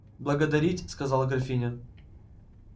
благодарить сказала графиня